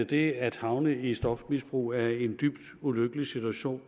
det at havne i stofmisbrug er en dybt ulykkelig situation